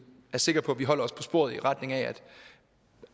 er sikre på at vi holder os på sporet i retning af at